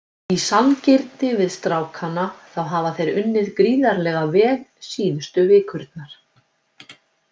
Í sanngirni við strákana þá hafa þeir unnið gríðarlega vel síðustu vikurnar.